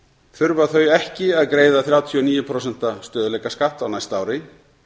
þurfa þau ekki að greiða þrjátíu og níu prósent stöðugleikaskatt á næsta ári